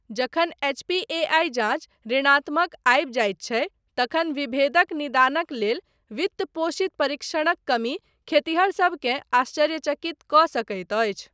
जखन एच.पी.ए.आइ जाँच ऋणात्मक आबि जाइत छै तखन विभेदक निदानक लेल वित्त पोषित परीक्षणक कमी खेतिहरसबकेँ आश्चर्यचकित कऽ सकैत अछि।